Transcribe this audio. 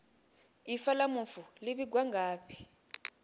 ifa la mufu li vhigwa ngafhi